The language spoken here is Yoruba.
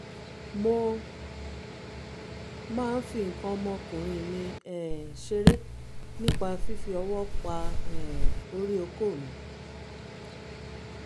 mo máa ń fi nǹkan ọmọkùnrin mi um ṣeré nípa fífi ọwọ́ pa um orí okó mi